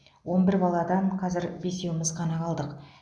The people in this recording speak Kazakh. он бір баладан қазір бесеуіміз ғана қалдық